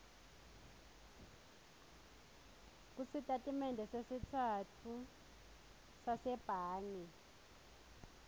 kusitatimende setfu sasebhange